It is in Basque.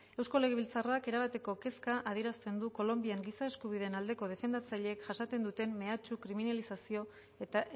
eusko legebiltzarrak erabateko kezka adierazten du kolonbian giza eskubideen aldeko defendatzaileek jasaten duten mehatxu kriminalizazio eta